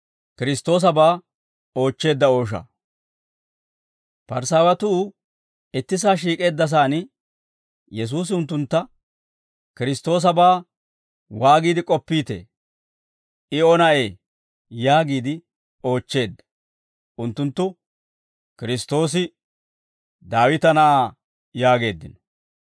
Parisaawatuu ittisaa shiik'eeddasaan Yesuusi unttuntta, «Kiristtoosabaa waagiide k'oppiitee? I O na'ee?» yaagiide oochcheedda. Unttunttu, «Kiristtoosi Daawita na'aa» yaageeddino.